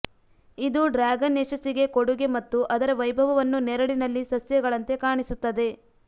ಇದು ಡ್ರ್ಯಾಗನ್ ಯಶಸ್ಸಿಗೆ ಕೊಡುಗೆ ಮತ್ತು ಅದರ ವೈಭವವನ್ನು ನೆರಳಿನಲ್ಲಿ ಸಸ್ಯಗಳಂತೆ ಕಾಣಿಸುತ್ತದೆ